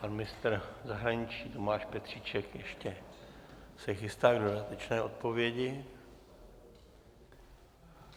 Pan ministr zahraničí Tomáš Petříček se ještě chystá k dodatečné odpovědi.